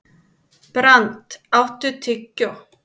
Brandr, áttu tyggjó?